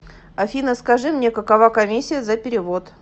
афина скажи мне какова коммисия за перевод